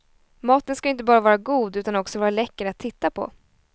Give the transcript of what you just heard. Maten ska ju inte bara vara god utan också vara läcker att titta på.